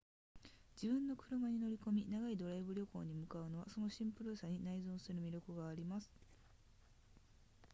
自分の車に乗り込み長いドライブ旅行に向かうのはそのシンプルさに内在する魅力があります